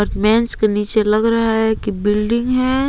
के नीचे लग रहा है कि बिल्डिंग है।